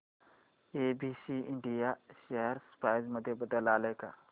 ABC India share price मध्ये बदल आलाय का